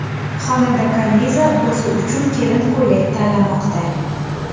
Xonanda Kaniza o‘zi uchun kelin ko‘ylak tanlamoqda .